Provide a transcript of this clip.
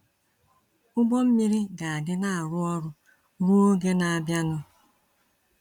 Ụgbọ mmiri ga-adị na-arụ ọrụ ruo oge na abịa nụ.